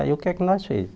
Aí o que é que nós fizemos?